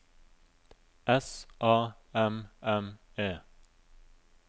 S A M M E